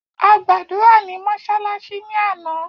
A gbàdúrà ní mọ́sálásí ní àná